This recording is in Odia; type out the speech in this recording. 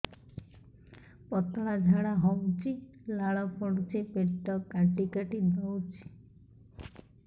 ପତଳା ଝାଡା ହଉଛି ଲାଳ ପଡୁଛି ପେଟ କାଟି କାଟି ଦଉଚି